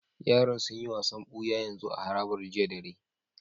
Yaran sun yi wasan buya yanzu a harabar jiya dare.